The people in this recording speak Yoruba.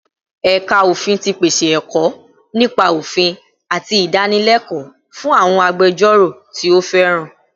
Ẹ̀ka Ofin ti pèsè ẹ̀kọ́ nípa òfin àti ìdánilẹ́kọ̀ọ́ fún àwọn agbẹjọ́rò tí ó fẹ́ràn